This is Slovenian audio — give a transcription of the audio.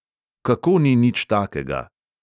Kako ni nič takega!?